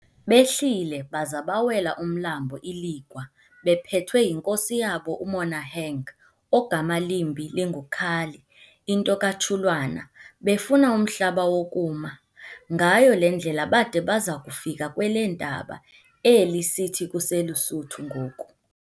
Behlile baza bawela umlambo iLigwa bephethwe yinkosi yabo uMonaheng ogama limbi linguKali into kaTshulwana, befuna umhlaba wokuma. Ngayo le ndlela bada baza kufika kweleentaba, eli sithi kuseLusuthu ngoku.